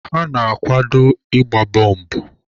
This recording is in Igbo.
Ha na-akwado ịgba bọmbụ.